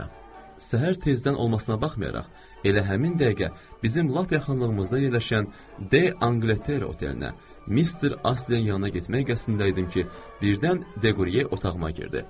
Səhər tezdən olmasına baxmayaraq, elə həmin dəqiqə bizim lap yaxınlığımızda yerləşən D Anqləttere otelinə Mister Aslinin yanına getmək qəsdində idim ki, birdən Deqriye otağıma girdi.